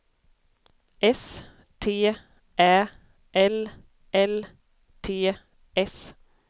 S T Ä L L T S